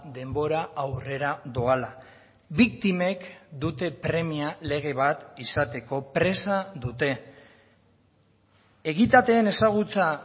denbora aurrera doala biktimek dute premia lege bat izateko presa dute egitateen ezagutza